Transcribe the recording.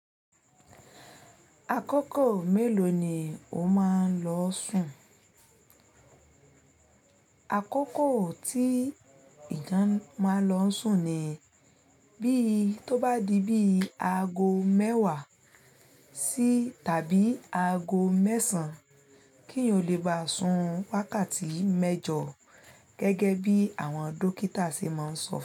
Àkókò mélòó ni o máa ń lọ sùn? Àkókò tí ìgan máa lọ sùn ni bí tó bá di bí aago mẹ́wàá sí tàbí aago mẹ́sàn-án, kí o lè bá sùn wákàtí mẹ́jọ gẹ́gẹ́ bí àwọn dókítà ṣe máa ń sọ fún.